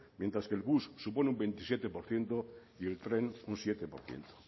mientras que el bus supone un veintisiete por ciento y el tren un siete por ciento